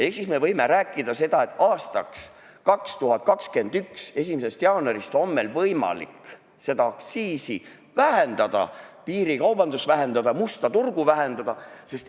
Ehk siis me võime rääkida seda, et 2021. aasta 1. jaanuarist on meil võimalik seda aktsiisi vähendada, piirikaubandust vähendada, musta turgu vähendada.